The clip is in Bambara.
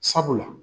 Sabula